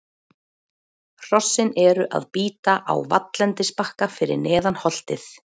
Hrossin eru að bíta á valllendisbakka fyrir neðan holtið.